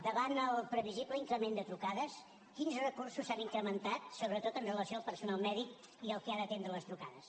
davant el previsible increment de trucades quins recursos s’han incrementat sobretot amb relació al personal mèdic i al que ha d’atendre les trucades